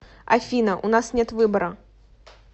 афина у нас нет выбора